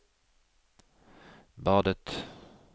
badet